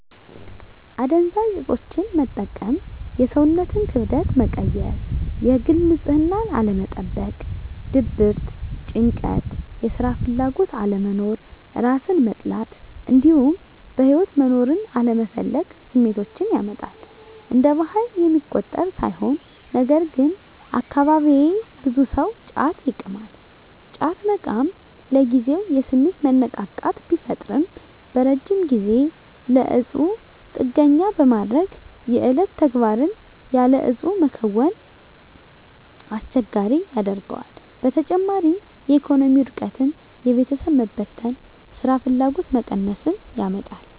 አደንዛዥ እፆችን መጠቀም የሰውነትን ክብደት መቀየር፣ የግል ንፅህናን አለመጠበቅ፣ ድብርት፣ ጭንቀት፣ የስራ ፍላጎት አለመኖር፣ እራስን መጥላት እንዲሁም በህይወት መኖርን አለመፈለግ ስሜቶችን ያመጣል። እንደ ባህል የሚቆጠር ሳይሆን ነገርግን አካባቢየ ብዙ ሰው ጫት ይቅማል። ጫት መቃም ለጊዜው የስሜት መነቃቃት ቢፈጥርም በረጅም ጊዜ ለእፁ ጥገኛ በማድረግ የዕለት ተግባርን ያለ እፁ መከወንን አስቸጋሪ ያደርገዋል። በተጨማሪም የኢኮኖሚ ውድቀትን፣ የቤተሰብ መበተን፣ ስራፍላጎት መቀነስን ያመጣል።